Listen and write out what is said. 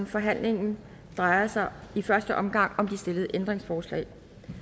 forhandlingen drejer sig i første omgang om de stillede ændringsforslag